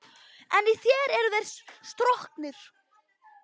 En í þér eru þeir stroknir.